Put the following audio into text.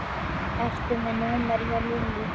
Ertu með númerið hjá Lillý?